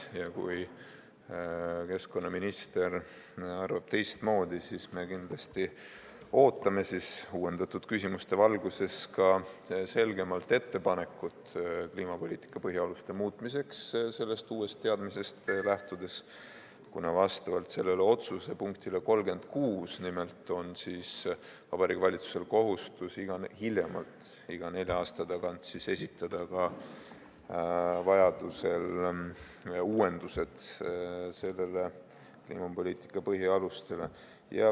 Kui keskkonnaminister arvab teistmoodi, siis me kindlasti ootame uuendatud küsimuste valguses ka selgemat ettepanekut kliimapoliitika põhialuste muutmiseks sellest uuest teadmisest lähtudes, sest selle otsuse punkti 36 kohaselt on Vabariigi Valitsusel nimelt kohustus vähemalt iga nelja aasta tagant esitada vajaduse korral kliimapoliitika põhialuste uuendused.